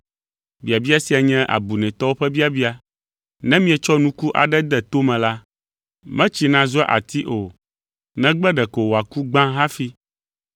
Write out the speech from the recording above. Biabia sia nye abunɛtɔwo ƒe biabia! Ne mietsɔ nuku aɖe de to me la, metsina zua ati o negbe ɖeko “wòaku” gbã hafi.